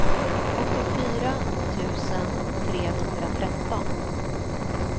åttiofyra tusen trehundratretton